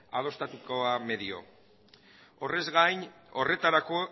adostatuko da medio horrez gain horretarako